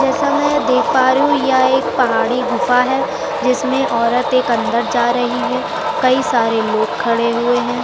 जैसा में देख पा रही हूँ यह एक पहाड़ी गुफा है जिसमें औरत एक अंदर जा रही है कई सारे लोग खड़े हुए हैं।